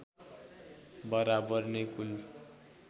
बराबर नै कुल